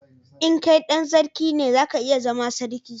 in kai dan sarki ne, za ka iya zaman sarki